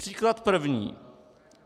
Příklad první.